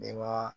Denba